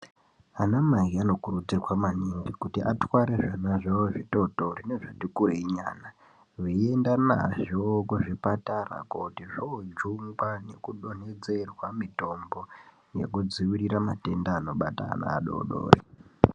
Anamai anokurudzirwa kuti atware zvana zvavo zvitotori nezvatikurenyana, veienda nazvo kuzvipatara, kuti zvoojungwa nekudonhedzerwa mutombo nekudziirira matenda anobata ana adodori.